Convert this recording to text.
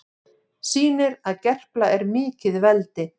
Sýnir að Gerpla er mikið veldi